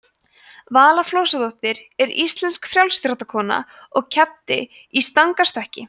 vala flosadóttir er íslensk frjálsíþróttakona og keppti í stangarstökki